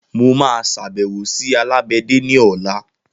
Mo maa sàbẹ̀wò sí alágbẹ̀dè ní ọ̀la